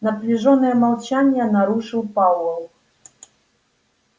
напряжённое молчание нарушил пауэлл